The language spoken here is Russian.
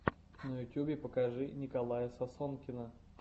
на ютюбе покажи николая сосонкина